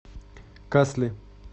касли